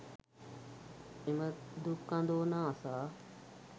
එම දුක් අඳෝනා අසා